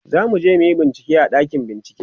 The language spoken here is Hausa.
zamuje muyi bincike a ɗakin bincike